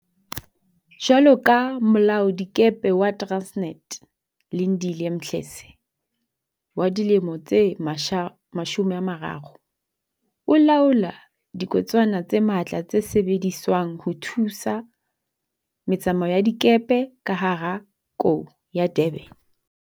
Jwalo ka molaoladikepe wa Transnet, Lindile Mdletshe 30 o laola diketswana tse matla tse sebediswang ho thusa me tsamao ya dikepe ka hara kou ya Durban.